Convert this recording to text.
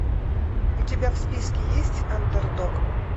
у тебя в списке есть андердог